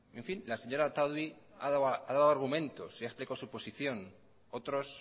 la señora otadui ha dado argumento y ha explicado su posición otros